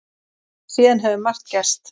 Síðan hefur margt gerst.